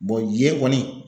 ye kɔni